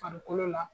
Farikolo la